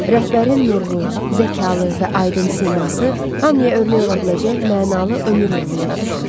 Rəhbərin nurlu, zəkalı və aydın siması hamıya örnək ola biləcək mənalı ömür yolu yada düşür.